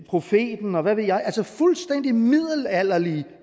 profeten og hvad ved jeg altså fuldstændig middelalderlige